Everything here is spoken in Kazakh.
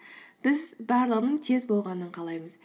біз барлығының тез болғанын қалаймыз